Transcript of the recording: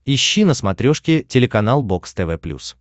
ищи на смотрешке телеканал бокс тв плюс